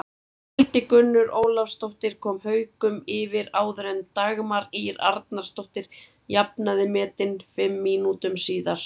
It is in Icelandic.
Hildigunnur Ólafsdóttir kom Haukum yfir áður en Dagmar Ýr Arnarsdóttir jafnaði metin fimm mínútum síðar.